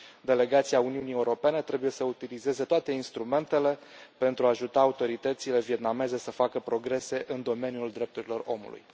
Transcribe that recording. Delegația Uniunii Europene trebuie să utilizeze toate instrumentele pentru a ajuta autoritățile vietnameze să facă progrese în domeniul drepturilor omului.